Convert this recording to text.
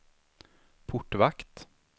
portvakt